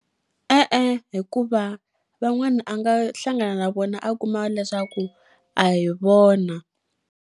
E-e, hikuva van'wana a nga hlangana na vona a kuma leswaku a hi vona.